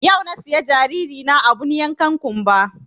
Yau na siya jariri na abun yankan ƙunba